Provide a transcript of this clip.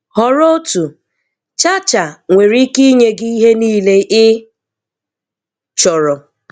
Họrọ otu "cha cha" nwere ike inye gị gị ihe niile ị chọrọ